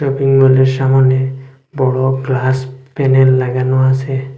Shopping মলের সামোনে বড়ো গ্লাস প্যানেল লাগানো আছে।